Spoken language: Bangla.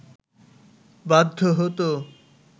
বাধ্য হতো